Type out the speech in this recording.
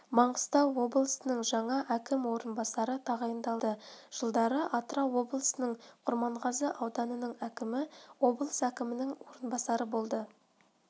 маңғыстау облысының жаңа әкім орынбасары тағайындалды жылдары атырау облысының құрманғазы ауданының әкімі облыс әкімінің орынбасары болды